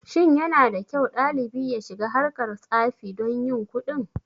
Shin yanada kyau ɗalibi ya shiga harkar tsafi don yin kuɗin.